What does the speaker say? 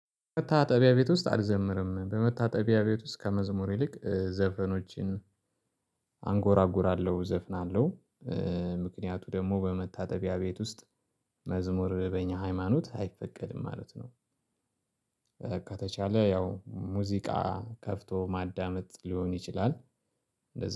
በመታጠቢያ ቤት ውስጥ አልዘምርም በመታጠቢያ ቤት ውስጥ ከመዝሙር ይልቅ ዘፈኖችን አንጎራጉራለሁ እዘፍናለሁ። ምክንያቱ ደግሞ በመታጠቢያ ቤት ውስጥ መዝሙር በእኛ ሃይማኖት አይፈቀድም ማለት ነው። ከተቻለ ያው ሙዚቃ ከፍቶ ማዳመጥ ሊሆን ይችላል።